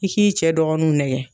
I k'i cɛ dɔgɔninw nɛgɛ